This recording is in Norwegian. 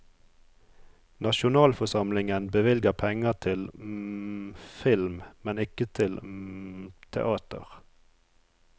Nasjonalforsamlingen bevilger penger til film, men ikke til teater.